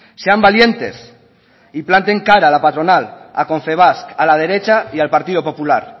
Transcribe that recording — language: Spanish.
sean valientes y planten cara a la patronal a confebask a la derecha y al partido popular